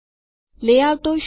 લેઆઉટો શું છે